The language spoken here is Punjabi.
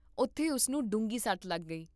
ਉਥੇ ਉਸ ਨੂੰ ਡੂੰਘੀ ਸੱਟ ਲੱਗ ਗਈ